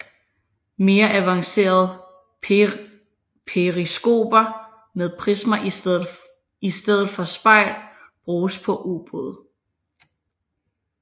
Mere avancerede periskoper med prismer i stedet for spejl bruges på ubåde